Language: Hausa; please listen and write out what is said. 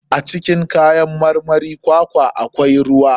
A cikin kayan marmarin kwakwa akwai ruwa.